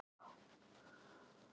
Tíðinda að vænta í dag